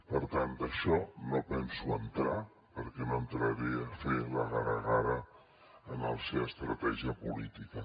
per tant en això no hi penso entrar perquè no entraré a fer la gara gara a la seva estratègia política